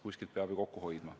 Kuskilt peab ju kokku hoidma.